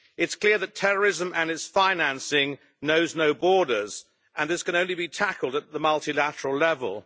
It's clear that terrorism and its financing know no borders and this can only be tackled at the multilateral level.